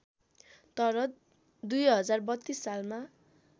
तर २०३२ सालमा